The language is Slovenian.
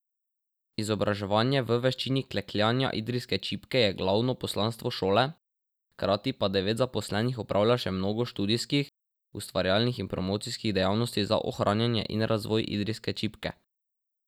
Izobraževanje v veščini klekljanja idrijske čipke je glavno poslanstvo šole, hkrati pa devet zaposlenih opravlja še mnogo študijskih, ustvarjalnih in promocijskih dejavnosti za ohranjanje in razvoj idrijske čipke.